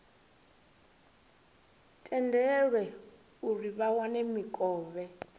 tendelwe uri vha wane mikovhe